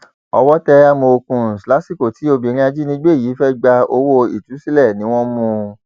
owó tẹ àmọọkùns lásìkò tí obìnrin ajínigbé yìí fẹẹ gba owó ìtúsílẹ ni wọn mú un